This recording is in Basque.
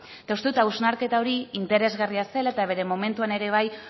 eta uste dut hausnarketa hori interesgarria zela eta bere momentuan ere bai